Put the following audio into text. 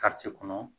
kɔnɔ